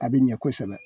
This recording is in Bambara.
A bɛ ɲɛ kosɛbɛ